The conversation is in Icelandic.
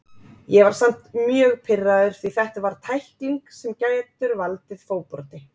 Ég var samt mjög pirraður því þetta var tækling sem getur valdið fótbroti.